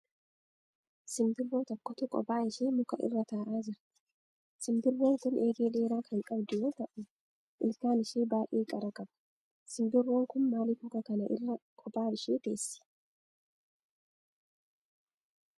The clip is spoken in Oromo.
Simbirroo tokkotu qophaa ishee muka irra ta'aa jirti. Simbirroon kun eegee dheeraa kan qabdu yoo ta'uu ilkaan ishee baay'ee qara qaba. Simbirroon kun maaliif muka kana irra qophaa ishee teeessi?